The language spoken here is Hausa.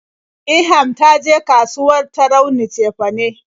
Ilham ta je kasuwar Tarauni cefane.